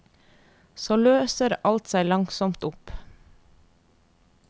Så løser alt seg langsomt opp.